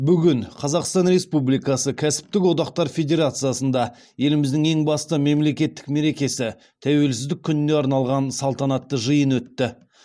бүгін қазақстан республикасы кәсіптік одақтар федерациясында еліміздің ең басты мемлекеттік мерекесі тәуелсіздік күніне арналған салтанатты жиын өтті